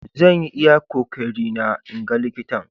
Zan yi iyakan kokeri na 'n gan likitan.